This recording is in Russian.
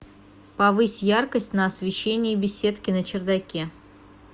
повысь яркость на освещении беседки на чердаке